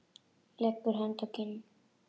Leggur hönd að kinn.